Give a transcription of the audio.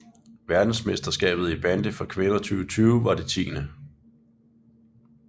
Verdensmesterskabet i bandy for kvinder 2020 var det 10